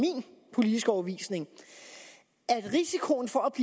politiske overbevisning at risikoen for at